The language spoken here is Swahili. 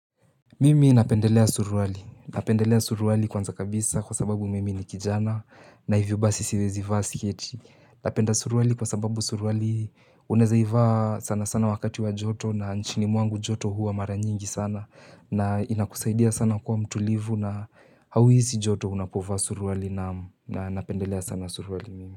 Mimi napendelea suruali. Napendelea suruali kwanza kabisa kwa sababu mimi ni kijana na hivyo basi siwezi vaa siketi. Napenda suruali kwa sababu suruali unaeza ivaa sana sana wakati wa joto na nchini mwangu joto huwa mara nyingi sana na inakusaidia sana kuwa mtulivu na hauhizi joto unapovaa suruali na napendelea sana suruali mimi.